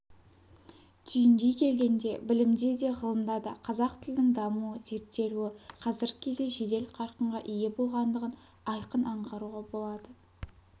түйіндей келгенде білімде де ғылымда да қазақ тілінің дамуы зерттелуі қазіргі кезде жедел қарқынға ие болғандығын айқын аңғаруға болады